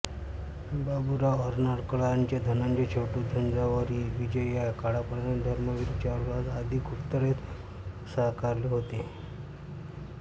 बाबूराव अर्नाळकरांचे धनंजय छोटू झुंझारविजया काळापहाड धर्मसिंग चारुहास आदी गुप्तहेर मुळगावकरांनी साकारले होते